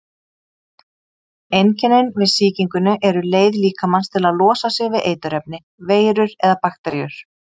Einkennin við sýkingunni eru leið líkamans til að losa sig við eiturefni, veirur eða bakteríur.